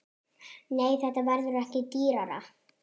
Nei, þetta verður ekki dýrara.